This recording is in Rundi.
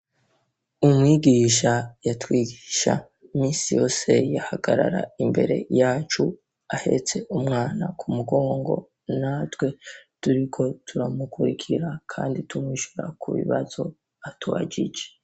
Umwigisha, yatwigisha, minsi yose yahagarara, imbere, yacu, ahetse umwana kumugongo, natwe turiko turamukurikira kandi tumwishura kubibazo atubajije.